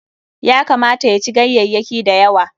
Ya kamata ya ci ganyayyaki da yawa.